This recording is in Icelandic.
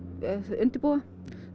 undirbúa